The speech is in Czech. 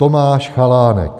Tomáš Chalánek.